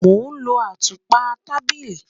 Mo n lọ atúpa tábílì